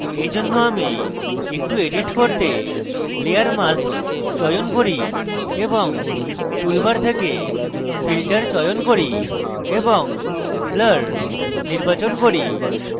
এরজন্য আমি একটু edit করতে layer mask চয়ন করি এবং টুলবার থেকে filter চয়ন করি এবং blur নির্বাচন করি